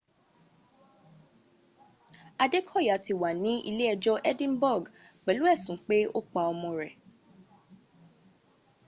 adékọ̀yà ti wà ní ilé ẹjọ́ edinburg pẹ́lù ẹ̀sùn pé ó pa ọmọ rẹ̀